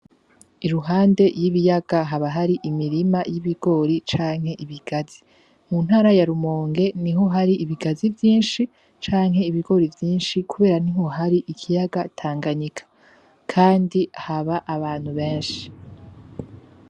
Iruhande y'ibiyaga haba hari imirima y'ibigori canke ibigazi, mu ntara ya rumonge niho hari ibigazi vyinshi canke ibigori vyinshi kubera niho hari ikiyaga tanganyika kandi haba abantu benshi.